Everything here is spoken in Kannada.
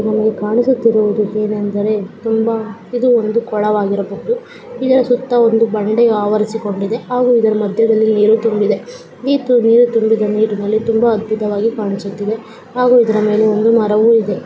ನಮಗೆ ಕಾಣಿಸುತ್ತಿರುವುದು ಏನೆಂದರೆ ತುಂಬಾ ಇದು ಒಂದು ಕೊಳವಾಗಿರಬಹುದು. ಇದರ ಸುತ್ತ ಒಂದು ಬಂಡೆಯು ಆವರಿಸಿಕೊಂಡಿದೆ. ಹಾಗೂ ಇದರ ಮದ್ಯದಲ್ಲಿ ನೀರು ತುಂಬಿದೆ. ನೀರು ತುಂಬಿದ ನೀರಿನಲ್ಲಿ ತುಂಬಾ ಅದ್ಭುತವಾಗಿ ಕಾಣಿಸುತ್ತಿದೆ. ಹಾಗೂ ಇದರ ಮೇಲೆ ಒಂದು ಮರವು ಇದೆ.